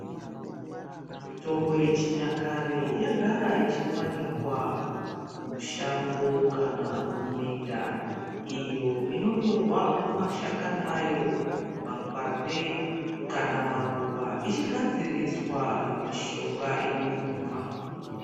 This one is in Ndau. Mitombo yechinyakare yagara ichiwanikwa mushango kana muminda iyo inotorwa mashakani ayo makwande kana maruva ichigadziriswa mishonga yokumwa.